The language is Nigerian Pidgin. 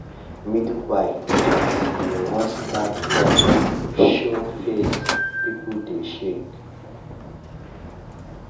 midwife talk say once that pause show face people dey shake.